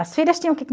As filhas tinham